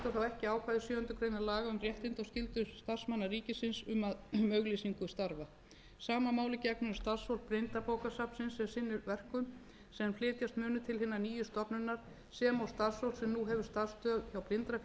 ekki ákvæði sjöundu grein laga um réttindi og skyldur starfsmanna ríkisins um auglýsingu starfa sama máli gegnir um starfsfólk blindrabókasafnsins sem sinnir verkum sem flytjast munu til hinnar nýju stofnunar sem og starfsfólk sem nú hefur starfsstöð hjá blindrafélaginu samkvæmt samningi